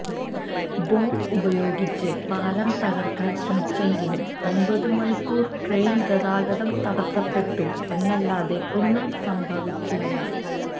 bomb ഉപയോഗിച്ച് പാലം തകര്ക്കാന് ശ്രമിച്ചെങ്കിലും ഒമ്പത് മണിക്കൂര് ട്രെയിന് ഗതാഗതം തടസപ്പെട്ടു എന്നല്ലാതെ ഒന്നും സംഭവിച്ചില്ല